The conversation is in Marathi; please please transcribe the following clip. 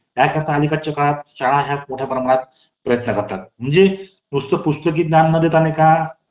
अं कडे negative frequency येणारच नाई. त्यांनी, बरेच प्रकारे example दिलेले आहेत. खूप जास्त छान book आहे ते. आणि नक्कीच guarantee घेते मी, कि हे book वाचल्यानंतर,